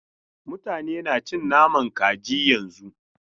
Mutane na cin nama kaji yanzun.